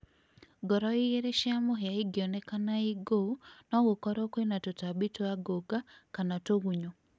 Ngoro igĩrĩ cia mũhĩa ingĩonekana inguũ nogũkorwo kwina tũtambi twa ngũnga kana tũgunyũ